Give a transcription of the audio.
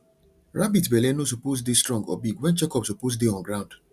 rabbit belle no suppose dey strong or big when check up suppose dey on ground